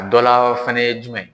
A dɔla fɛnɛ jumɛn